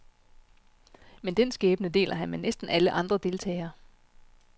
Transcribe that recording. Men den skæbne deler han med næsten alle andre deltagere.